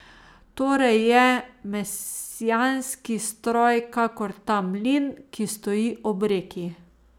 Torej je mesijanski stroj kakor ta mlin, ki stoji ob reki.